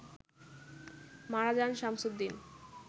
মারা যান শামসুদ্দিন